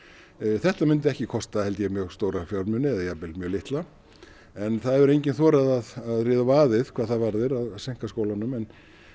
þetta mundi ekki kosta mjög stóra fjármuni jafnvel mjög litla en það hefur enginn þorað að ríða á vaðið hvað þetta varðar að seinka skólunum en